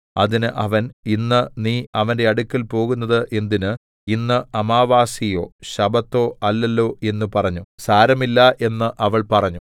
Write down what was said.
അതിന് അവൻ ഇന്ന് നീ അവന്റെ അടുക്കൽ പോകുന്നത് എന്തിന് ഇന്ന് അമാവാസ്യയോ ശബ്ബത്തോ അല്ലല്ലോ എന്ന് പറഞ്ഞു സാരമില്ല എന്ന് അവൾ പറഞ്ഞു